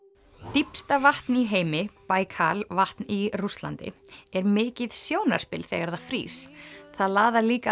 dýpsta vatn í heimi vatn í Rússlandi er mikið sjónarspil þegar það frýs það laðar líka